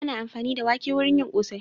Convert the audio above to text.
Ana amfani da wake wurin yin ƙosai.